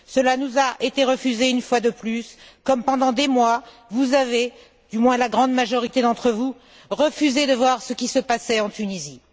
Cela nous a été refusé une fois de plus comme, pendant des mois, vous avez, du moins la grande majorité d'entre vous, refusé de voir ce qui se passait en Tunisie.